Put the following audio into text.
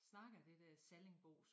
Snakker det dér sallingbosk